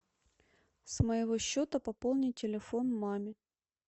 с моего счета пополнить телефон маме